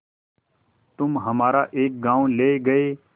तुम हमारा एक गॉँव ले गये